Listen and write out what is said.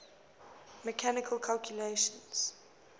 mechanical calculators